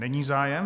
Není zájem?